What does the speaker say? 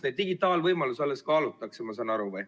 Neid digitaalvõimalusi alles kaalutakse, ma saan aru.